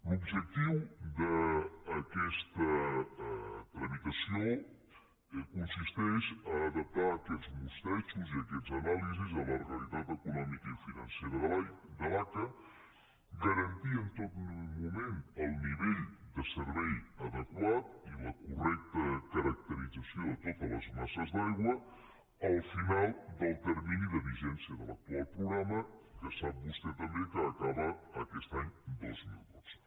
l’objectiu d’aquesta tramitació consisteix a adaptar aquests mostrejos i aquestes anàlisis a la realitat econòmica i financera de l’aca i garantir en tot moment el nivell de servei adequat i la correcta caracterització de totes les masses d’aigua al final del termini de vigència de l’actual programa que sap vostè també que acaba aquest any dos mil dotze